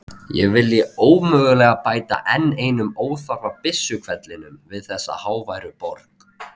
Ég vilji ómögulega bæta enn einum óþarfa byssuhvellinum við þessa háværu borg.